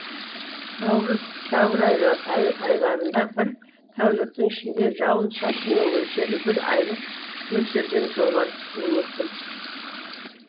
наурыз сәуір айларында бір тәуліктің ішінде жауын шашынның мөлшері бір айлық мөлшерден жоғары түсуі мүмкін